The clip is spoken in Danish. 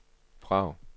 Prag